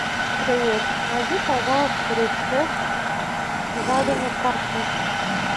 привет найди пожалуйста рецепт жареной картошки